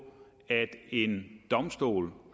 at en domstol